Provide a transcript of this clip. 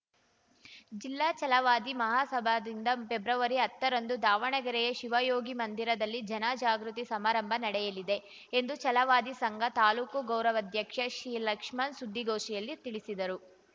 ಜಿಲ್ಲಾ ಛಲವಾದಿ ಮಹಾಸಭಾದಿಂದ ಪ್ರೆಬ್ರವರಿ ಹತ್ತ ರಂದು ದಾವಣಗೆರೆಯ ಶಿವಯೋಗಿ ಮಂದಿರದಲ್ಲಿ ಜನ ಜಾಗೃತಿ ಸಮಾರಂಭ ನಡೆಯಲಿದೆ ಎಂದು ಛಲವಾದಿ ಸಂಘ ತಾಲೂಕು ಗೌರವಾಧ್ಯಕ್ಷ ಸಿ ಲಕ್ಷ್ಮಣ್‌ ಸುದ್ದಿಗೋಷ್ಠಿಯಲ್ಲಿ ತಿಳಿಸಿದರು